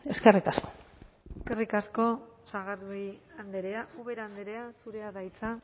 eskerrik asko eskerrik asko sagardui andrea ubera andrea zurea da hitza